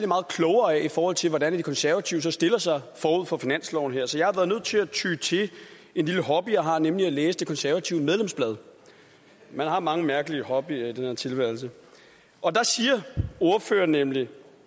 meget klogere af i forhold til hvordan de konservative så stiller sig forud for finansloven så jeg har været nødt til at ty til en lille hobby jeg har nemlig at læse det konservative medlemsblad man har mange mærkelige hobbyer i den her tilværelse og der siger ordføreren nemlig